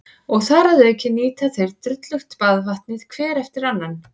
Og þar að auki nýta þeir drullugt baðvatnið hver eftir annan.